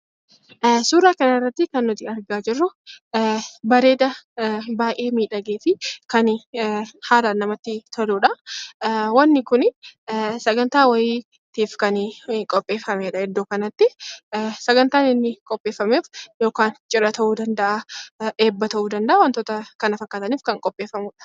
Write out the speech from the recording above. Suuraakanarratti kan nuti argaa jirru bareeda kan baay'ee miidhagee fi baay'ee namatti toludha. wanti kun sagantaa wayiitiif kan qopheeffamedha iddoo kanatti. Sagantaan inni qopheeffameef cidha ta'uu danda'a, eebba ta'uu danda'a wantoota kana fakkaataniif kan qopheeffamudha.